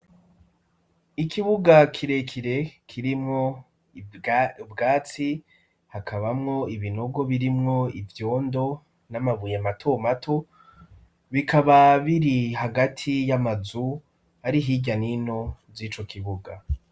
Ikibuga kirekire kirimwo ubwatsi ,hakabamwo ibinogo birimwo ivyondo ,n'amabuye mato mato, bikaba biri hagati y'amazu ari hirya n'ino z'ico kibuga.